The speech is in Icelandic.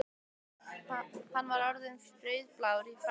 Hann var orðinn rauðblár í framan.